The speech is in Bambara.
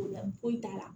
foyi t'a la